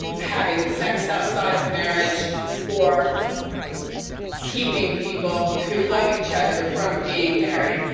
having sex outside of marriage or keeping people who love each other from being married.